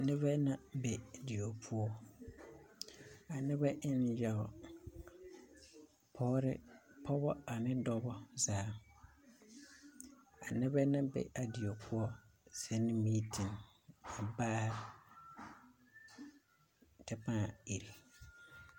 Nebɛ na be die poɔ a nebɛ en yawa pɔgeba ane dɔba zaa a nebɛ na be a die poɔ zuŋ miiti baare kyɛ pãã iri.